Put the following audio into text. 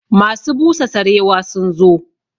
Masu busa sarewa sun zo